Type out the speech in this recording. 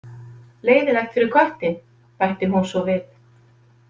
Leiðinlegt fyrir köttinn, bætti hún svo við.